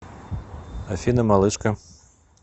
афина малышка